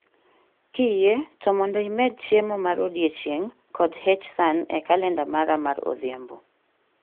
Kiyie to mondo imed chiemo mar odiechieng' kod H san e kalenda mara mar odhiambo